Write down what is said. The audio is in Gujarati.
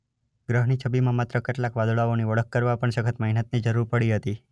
ગ્રહની છબીમાં માત્ર કેટલાક વાદળાઓની ઓળખ કરવા પણ સખત મહેનતની જરૂર પડી હતી.